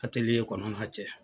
kɔnɔn'a cɛ